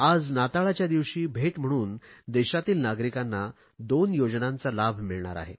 आज नाताळच्या दिवशी भेट म्हणून देशातील नागरिकांना दोन योजनांचा लाभ मिळणार आहे